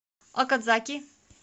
окадзаки